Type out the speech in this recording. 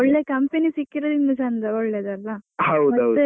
ಒಳ್ಳೆ company ಸಿಕ್ಕಿದ್ರೆ ನಿಮ್ಗೆ ಚೆಂದ .